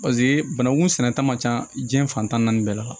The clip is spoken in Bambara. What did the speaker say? paseke banangun sɛnɛta man ca jiɲɛ fan tan ni naani bɛɛ la